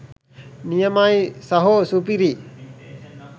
නියමයි සහෝ සුපිරි